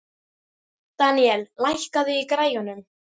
Daníel, lækkaðu í græjunum.